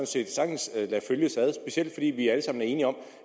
set sagtens lade følges ad specielt fordi vi alle sammen er enige om